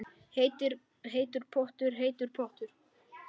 Heitur pottur, heitur pottur